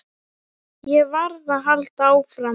Ég varð að halda áfram.